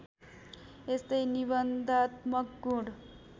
यस्तै निबन्धात्मक गुण